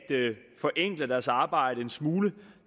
forenkle deres arbejde en smule